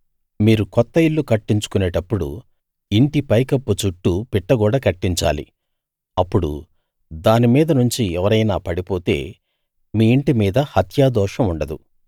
మీరు కొత్త ఇల్లు కట్టించుకొనేటప్పుడు ఇంటి పైకప్పు చుట్టూ పిట్టగోడ కట్టించాలి అప్పుడు దాని మీద నుంచి ఎవరైనా పడిపోతే మీ ఇంటి మీద హత్యాదోషం ఉండదు